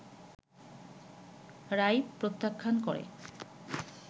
রায় প্রত্যাখ্যান করে